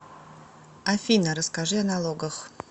афина расскажи о налогах